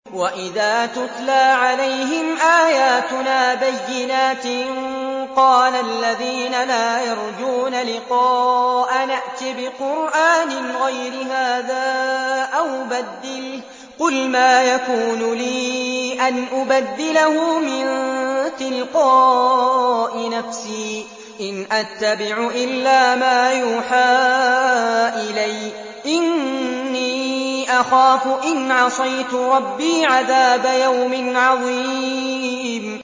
وَإِذَا تُتْلَىٰ عَلَيْهِمْ آيَاتُنَا بَيِّنَاتٍ ۙ قَالَ الَّذِينَ لَا يَرْجُونَ لِقَاءَنَا ائْتِ بِقُرْآنٍ غَيْرِ هَٰذَا أَوْ بَدِّلْهُ ۚ قُلْ مَا يَكُونُ لِي أَنْ أُبَدِّلَهُ مِن تِلْقَاءِ نَفْسِي ۖ إِنْ أَتَّبِعُ إِلَّا مَا يُوحَىٰ إِلَيَّ ۖ إِنِّي أَخَافُ إِنْ عَصَيْتُ رَبِّي عَذَابَ يَوْمٍ عَظِيمٍ